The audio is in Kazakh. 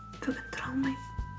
бүгін тұра алмаймын